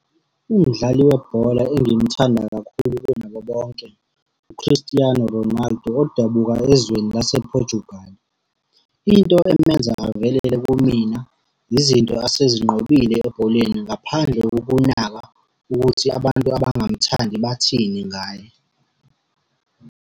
Umdlali webhola engimthanda kakhulu kunabo bonke, u-Christiano Ronaldo odabuka ezweni lase-Portugal. Into emenza avelele kumina, izinto asezinqobile ebholeni ngaphandle kokunaka ukuthi abantu abangamthandi bathini ngaye.